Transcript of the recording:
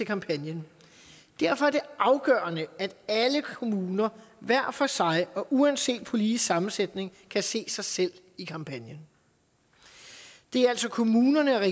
kampagnen derfor er det afgørende at alle kommuner hver for sig uanset politisk sammensætning kan se sig selv i kampagnen det er altså kommunerne og